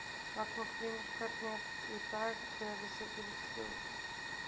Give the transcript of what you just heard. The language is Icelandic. Magnús Hlynur: Hvernig er í dag þegar þið setjið ruslið út?